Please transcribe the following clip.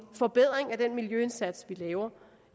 forbedring af den miljøindsats vi laver